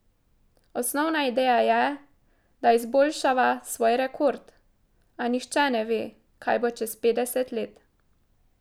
Osnovna ideja je, da izboljšava svoj rekord, a nihče ne ve, kaj bo čez petdeset let.